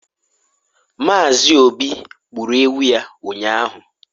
Mazị obi gburu ewu ya ụnyahụ